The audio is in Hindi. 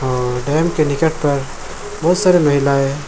अअ डॅम के निकट पर बहोत सारी महिलाए --